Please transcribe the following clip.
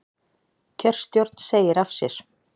Kjörstjórn segir af sér